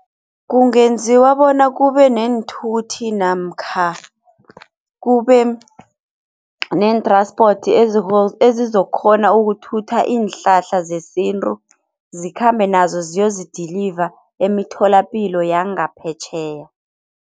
Kungenziwa bona kube neenthuthi namkha kube nee-transport ezizokghona ukuthutha iinhlahla zesintu zikhambe nazo ziyozi-deliver emitholapilo yangaphetjheya.